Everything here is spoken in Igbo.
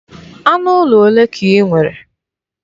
Anụ ụlọ olee ka i nwere?